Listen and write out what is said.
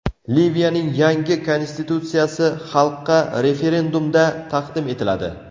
Liviyaning yangi konstitutsiyasi xalqqa referendumda taqdim etiladi.